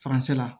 Faransɛ